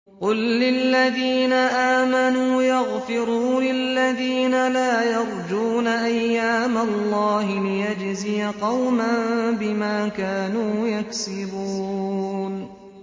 قُل لِّلَّذِينَ آمَنُوا يَغْفِرُوا لِلَّذِينَ لَا يَرْجُونَ أَيَّامَ اللَّهِ لِيَجْزِيَ قَوْمًا بِمَا كَانُوا يَكْسِبُونَ